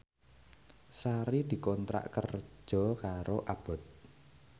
Sari dikontrak kerja karo Abboth